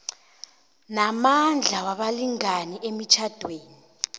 namandla wabalingani emitjhadweni